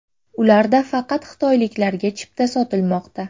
Ularda faqat xitoyliklarga chipta sotilmoqda.